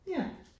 Ja